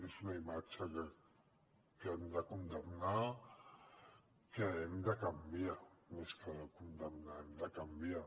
és una imatge que hem de condemnar que hem de canviar més que condemnar hem de canviar